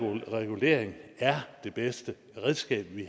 regulering er det bedste redskab vi